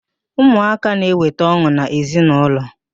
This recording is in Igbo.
Ụmụaka na-eweta ọn̄ụ n'ezi na ụlọ